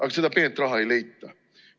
Aga seda peenraha ei leita.